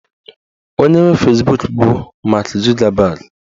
Onye nwe Fezbuk bụ Mak Zugabag